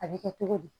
A bɛ kɛ togo di